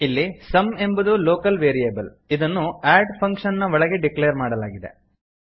ಇಲ್ಲಿ ಸಮ್ ಎಂಬುದು local variable ಇದನ್ನು ಅಡ್ ಫಂಕ್ಷನ್ ನ ಒಳಗೆ ಡಿಕ್ಲೇರ್ ಮಾಡಲಾಗಿದೆ